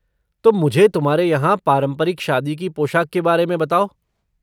तो मुझे तुम्हारे यहाँ पारंपरिक शादी की पोशाक के बारे में बताओ।